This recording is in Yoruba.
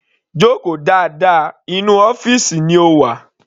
Joko dáadáa, inú ọ́fìsì ni o wà.